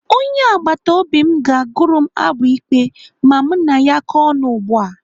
Onye agbataobi m ga-agụrụ m abụ ikpe ma mụ na ya kọọ ọnụ ugbu a.